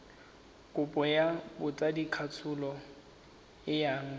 kopo ya botsadikatsholo e yang